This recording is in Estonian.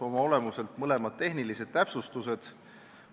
Oma olemuselt on mõlemad tehnilised täpsustused.